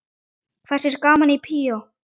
Hersir er gaman í bíó?